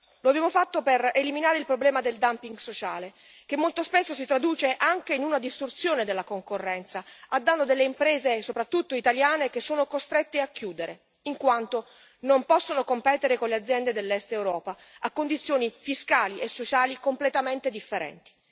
Lo abbiamo fatto per eliminare il problema del dumping sociale, che molto spesso si traduce anche in una distorsione della concorrenza a danno delle imprese, soprattutto italiane, che sono costrette a chiudere, in quanto non possono competere con le aziende dell'Est Europa a condizioni fiscali e sociali completamente differenti.